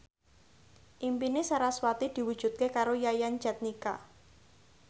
impine sarasvati diwujudke karo Yayan Jatnika